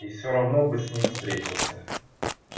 и все равно бы с ним встретился